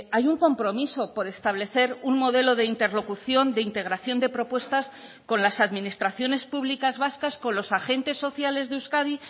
hay un compromiso por establecer un modelo de interlocución de integración de propuestas con las administraciones públicas vascas con los agentes sociales de euskadi